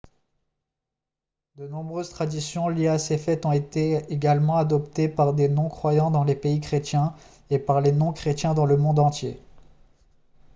de nombreuses traditions liées à ces fêtes ont été également adoptées par des non-croyants dans les pays chrétiens et par les non-chrétiens dans le monde entier